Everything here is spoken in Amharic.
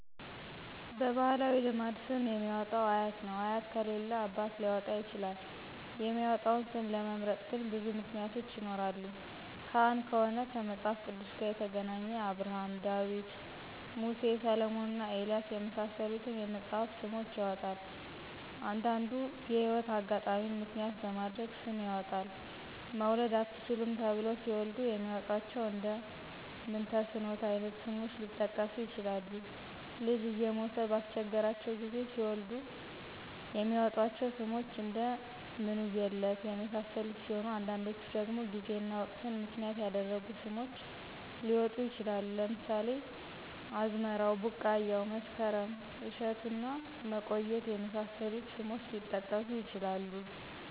በባህላዊ ልማድ ስም የሚያወጣው አያት ነው አያት ከሌለ አባት ሊያወጣ ይችላል የሚመጣውን ስም ለመምረጥ ግን ብዙ ምክንያቶች ይኖራሉ ካህን ከሆነ ከመጽሐፍ ቅዱስ ጋር የተገናኘ አብርሀም :ዳዊት :ሙሴ: ሰለሞንና ኤልያስ የመሳሰሉትን የመጽሐፍ ስሞችን ያወጣል። አንዱንዲ የህይወት አጋጣሚን ምክንያት በማድረግ ስም ያወጣል መውለድ አትችሉም ተብለው ሲወልዱ የሚያወጧቸው እንደ ምንተስኖት አይነት ስሞች ሊጠቀሱ ይችላሉ። ልጅ እየሞተ ባስቸገራቸው ጊዜ ሲወልዱ የሚያወጧቸው ስሞች እደ ምንውየለት የመሳሰሉት ሲሆኑ አንዳንዶቹ ደግሞ ጊዜና ወቅትን ምክንያት ያደረጉ ስሞች ሊወጡ ይችላሉ ለምሳሌ አዝመራው :ቢቃያው :መስከረም :እሸቱና መቆየት የመሳሰሉት ስሞች ሊጠቀሱ ይችላሉ።